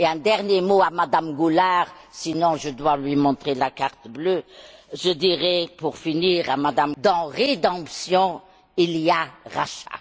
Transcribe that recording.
Un dernier mot à Madame Goulard, sinon je dois lui montrer la carte bleue je dirais, pour finir, que, dans rédemption, il y a rachat.